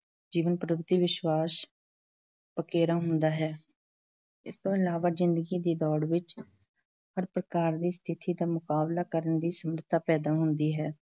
ਜੀਵਨ ਪ੍ਰਤੀ ਵਿਸ਼ਵਾਸ ਪਕੇਰਾ ਹੁੰਦਾ ਹੈ, ਇਸ ਤੋਂ ਇਲਾਵਾ ਜ਼ਿੰਦਗੀ ਦੀ ਦੌੜ ਵਿੱਚ ਹਰ ਪ੍ਰਕਾਰ ਦੀ ਸਥਿਤੀ ਦਾ ਮੁਕਾਬਲਾ ਕਰਨ ਦੀ ਸਮਰੱਥਾ ਪੈਦਾ ਹੁੰਦੀ ਹੈ